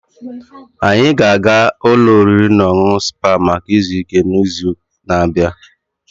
Anyị ga-aga ụlọ oriri na ọṅụṅụ Spa maka izu ike n'izu na-abịa